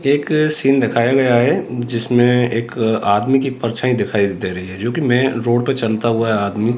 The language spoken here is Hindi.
एक सीन दिखाया गया है जिसमें एक आदमी की परछाई दिखाई दे रही है जो कि मेन रोड पर चलता हुआ आदमी --